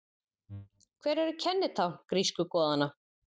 Hver eru kennitákn grísku goðanna?